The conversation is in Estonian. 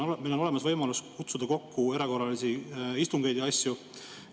Meil on olemas võimalus kutsuda kokku erakorralisi istungeid ja asju.